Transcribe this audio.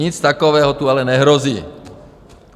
Nic takového tu ale nehrozí.